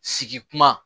Sigi kuma